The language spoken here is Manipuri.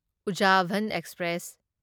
ꯎꯓꯥꯚꯟ ꯑꯦꯛꯁꯄ꯭ꯔꯦꯁ